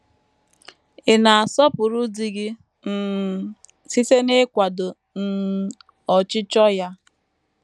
Ị̀ na - asọpụrụ di gị um site n’ịkwado um ọchịchọ ya?